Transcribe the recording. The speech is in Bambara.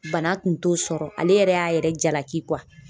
Bana kun t'o sɔrɔ ale yɛrɛ y'a yɛrɛ jalaki